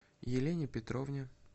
елене петровне